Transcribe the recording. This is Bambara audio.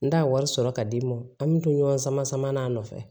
N t'a wari sɔrɔ ka d'i ma an bɛ to ɲɔgɔn sama sama n'a nɔfɛ